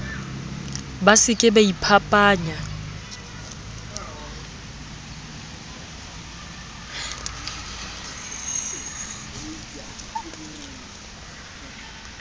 ba se ke ba iphapanya